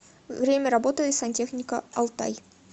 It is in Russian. время работы сантехника алтай